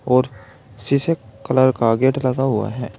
और शीशे कलर का गेट लगा हुआ है।